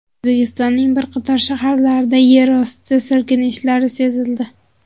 O‘zbekistonning bir qator shaharlarida yerosti silkinishlari sezildi.